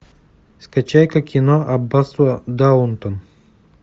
скачай ка кино аббатство даунтон